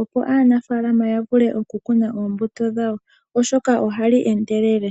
opo aanafaalama yavule okukuna omatama gawo ohali endelele